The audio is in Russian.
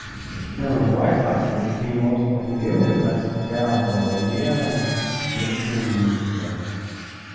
не ну давай так если ты не можешь сформулировать значит у тебя в голове смешанные мысли